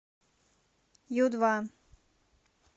ю два